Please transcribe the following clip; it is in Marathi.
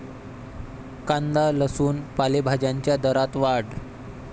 कांदा, लसूण, पालेभाज्यांच्या दरात वाढ